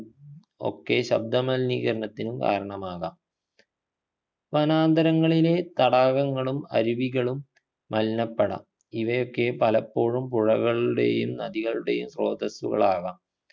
ഒക്കെ ശബ്ദമലിനീകരണത്തിനും കാരണമാകാം വനാന്തരങ്ങളിലെ തടാകങ്ങളും അരുവികളും മലിനപ്പെടാം ഇവയൊക്കെ പലപ്പോഴും പുഴകളുടെയും നദികളുടെയും സ്രോതസ്സുകളാകാം